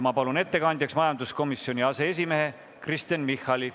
Ma palun ettekandjaks majanduskomisjoni aseesimehe Kristen Michali.